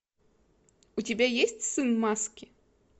у тебя есть сын маски